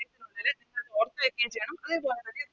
ഓർത്ത് വെക്കേം ചെയ്യണം അങ്ങനെ തോന്നുന്നത്